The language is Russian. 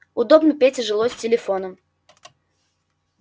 удобно пете жилось с телефоном